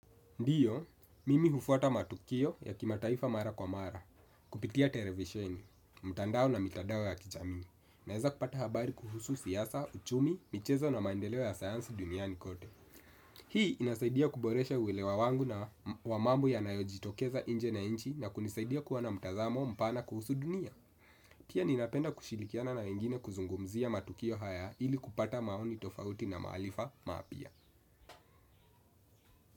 Ndio, mimi hufuata matukio ya kimataifa mara kwa mara, kupitia televisheni, mtandao na mitandao ya kijamiii, naweza kupata habari kuhusu siasa, uchumi, michezo na maendeleo ya sayansi duniani kote. Hii inasaidia kuboresha uelewa wangu na wa mambo ya nayojitokeza nje na inchi na kunisaidia kuwa na mtazamo mpana kuhusu dunia. Pia ninapenda kushirikiana na wengine kuzungumzia matukio haya ili kupata maoni tofauti na maarifa mapya.